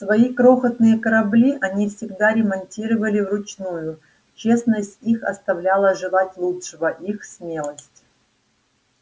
свои крохотные корабли они всегда ремонтировали вручную честность их оставляла желать лучшего их смелость